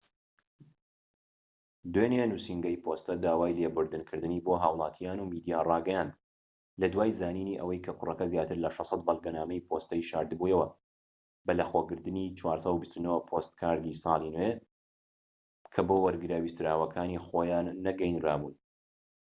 دوێنێ نووسینگەی پۆستە داوای لێبوردن کردنی بۆ هاوڵاتیان و میدیا ڕاگەیاند لە دوای زانینی ئەوەی کە کوڕەکە زیاتر لە 600 بەڵگەنامەی پۆستەیی شارد بوویەوە بەلەخۆگرتنی 429پۆستکاردی ساڵی نوێ کە بۆ وەرگرە ویستراوەکانی خۆیان نەگەیەنرا بوون